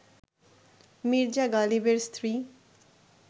মির্জা গালিবের স্ত্রী